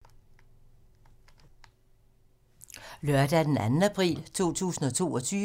Lørdag d. 2. april 2022